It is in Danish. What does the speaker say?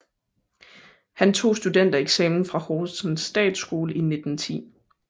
Han tog studentereksamen fra Horsens Statsskole i 1910